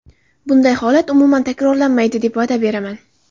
Bunday holat umuman takrorlanmaydi deb va’da beraman.